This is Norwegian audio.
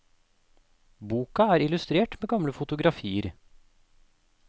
Boka er illustrert med gamle fotografier.